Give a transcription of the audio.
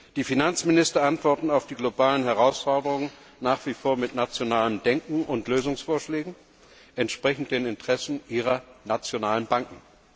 Die Finanzminister antworten auf die globalen Herausforderungen nach wie vor mit nationalem Denken und Lösungsvorschlägen entsprechend den Interessen ihrer nationalen Banken.